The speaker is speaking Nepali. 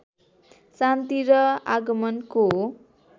शान्ति र आगमनको